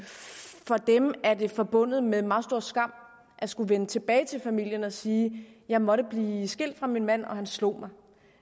for dem er det forbundet med meget meget stor skam at skulle vende tilbage til familien og sige jeg måtte blive skilt fra min mand og han slog mig